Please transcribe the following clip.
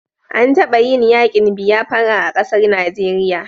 An taba yin yakin biafira a ƙasar Najeriya